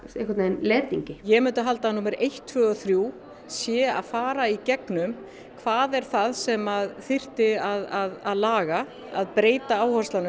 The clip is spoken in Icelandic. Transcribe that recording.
letingi ég myndi halda að númer eitt tvö og þrjú sé að fara í gegnum hvað er það sem þyrfti að laga að breyta áherslunum